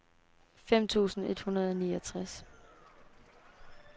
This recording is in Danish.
fem tusind et hundrede og niogtres